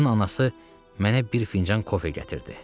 Lükün anası mənə bir fincan kofe gətirdi.